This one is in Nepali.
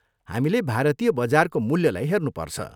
हामीले भारतीय बजारको मूल्यलाई हेर्नुपर्छ।